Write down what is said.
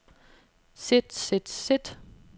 sit sit sit